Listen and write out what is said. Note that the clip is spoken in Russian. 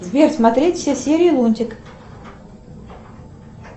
сбер смотреть все серии лунтик